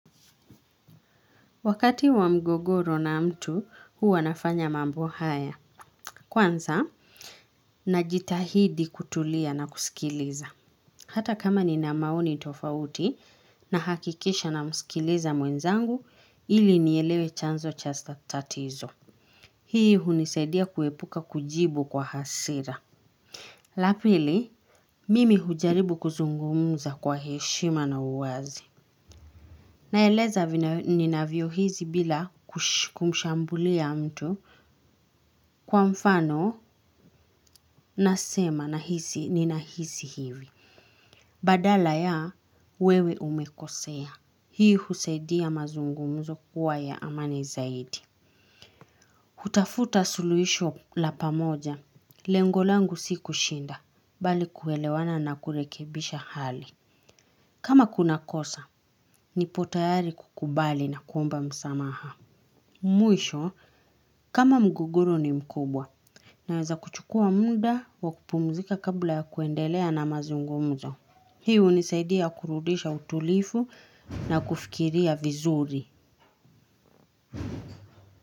Wakati wa mgogoro na mtu huwa nafanya mambo haya kwanza najitahidi kutulia na kusikiliza. Hata kama nina maoni tofauti nahakikisha namskiliza mwenzangu ili nielewe chanzo chasta tatizo. Hii hunisaidia kuepuka kujibu kwa hasira. La pili mimi hujaribu kuzungumza kwa heshima na uwazi. Naeleza ninavyohisi bila kumshambulia mtu kwa mfano nasema nahisi ninahisi hivi. Badala ya wewe umekosea. Hii husaidia mazungumzo kuwa ya amani zaidi. Hutafuta suluisho la pamoja. Lengo langu si kushinda. Bali kuelewana na kurekebisha hali. Kama kuna kosa, nipo tayari kukubali na kuomba msamaha. Mwisho kama mgogoro ni mkubwa naweza kuchukua muda wakupumzika kabla ya kuendelea na mazungumzo. Hiu hunisaidia kurudisha utulifu na kufikiria vizuri.